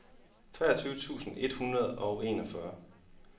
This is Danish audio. treogtyve tusind et hundrede og enogfyrre